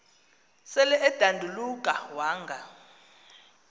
sel edanduluka wanga